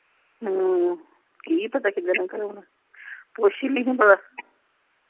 ਹਮ ਕੀ ਪਤਾ ਕੀਹਦੇ ਨਾਲ ਕਰਾਉਣਾ ਕੁਛ ਨਹੀਂ ਹੀ ਪਤਾ।